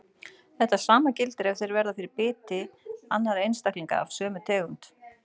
Þetta sama gildir ef þeir verða fyrir biti annarra einstaklinga af sömu tegund.